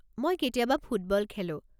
মই কেতিয়াবা ফুটবল খেলো।